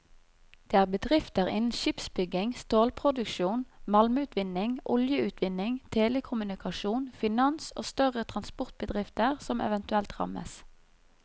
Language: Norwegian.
Det er bedrifter innen skipsbygging, stålproduksjon, malmutvinning, oljeutvinning, telekommunikasjon, finans og større transportbedrifter som eventuelt rammes.